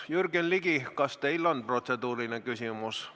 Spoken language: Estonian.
Jürgen Ligi, kas teil on protseduuriline küsimus?